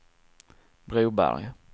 Broberg